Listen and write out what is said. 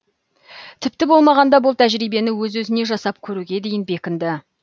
тіпті болмағанда бұл тәжірибені өз өзіне жасап көруге дейін бекінді